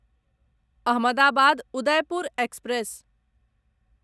Ahmedabad Udaipur express